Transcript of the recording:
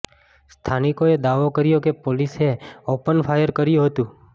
સ્થાનિકોએ દાવો કર્યો કે પોલીસે ઓપન ફાયર કર્યું હતું